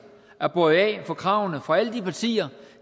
at bøje af for kravene fra alle de partier